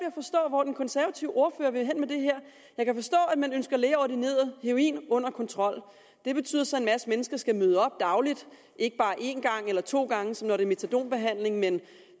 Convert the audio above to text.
at forstå hvor den konservative ordfører vil hen med det her jeg kan forstå at man ønsker lægeordineret heroin under kontrol det betyder så at en masse mennesker skal møde op dagligt ikke bare én gang eller to gange som når det er metadonbehandling men